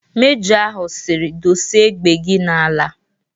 Mejọ ahụ siri "Dosee égbè gị n'ala"